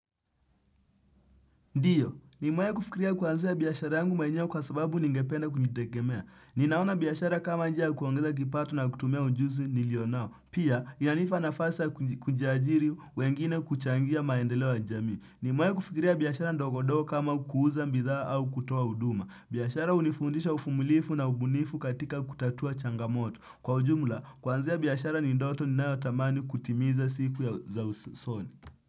Ndiyo, nimewahi kufikiria kuanzia biashara yangu mwenyewe kwa sababu ningependa kujitegemea. Ninaona biashara kama njia kuongeza kipato na kutumia ujuzi nilionao. Pia, yanipa nafasi ya kuajiri wengine kuchangia maendeleo ya njami. Nimewahi kufikiria biashara ndogodogo kama kuuza bithaa au kutoa huduma. Biashara hunifundisha uvumulivu na ubunifu katika kutatua changamoto. Kwa ujumla, kwanzia biashara ni ndoto ninayo tamani kutimiza siku za usoni.